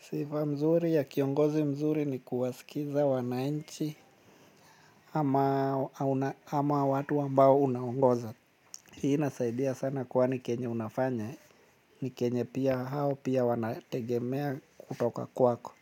Sifa nzuri ya kiongozi mzuri ni kuwasikiliza wananchi ama, watu ambao unaongoza. Hii nasaidia sana kwani kenye unafanya. Ni kenye pia hao pia wanategemea kutoka kwako.